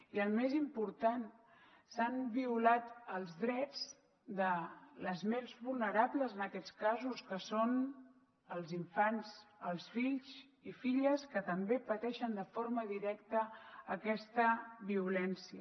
i el més important s’han violat els drets dels més vulnerables en aquests casos que són els infants els fills i filles que també pateixen de forma directa aquesta violència